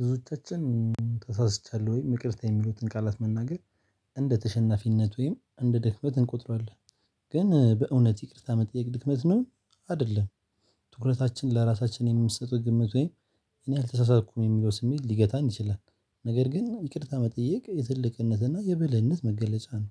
ብዙቻችን ተሳስቻለሁ ወይም ይቅርታ የሚሉትን ቃላት መናገር እንደ ተሸናፊነት ወይም እንደ ድክመት እንቆጥረዋለን ግን በእውነት ይቅርታ መጠየቅ ድክመት ነው። አይደለም። ትኩረታችን ለራሳችን የምትሰጡት ግምት ወይ እኔ አልተሳሳትኩም የሚለው ስሜት ሊገታን ይችላል። ነገር ግን ይቅርታ መጠየቅ የትልቅነትና የብልህነት መገለጫ ነው።